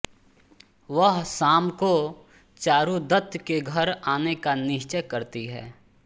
वह शाम को चारुदत्त के घर आने का निश्चय करती है